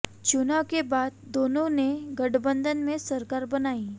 चुनाव के बाद दोनों ने गठबंधन में सरकार बनाई